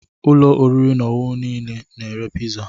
Ụlọ oriri nile ọ na-ere piza?